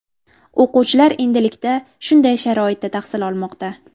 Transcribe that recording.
O‘quvchilar endilikda shunday sharoitda tahsil olmoqda.